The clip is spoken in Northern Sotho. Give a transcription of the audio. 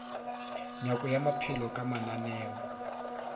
nyako ya maphelo ka mananeo